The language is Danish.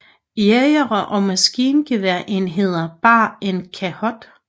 Jægere og maskingeværenheder bar en chakot